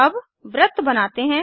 अब वृत्त बनाते हैं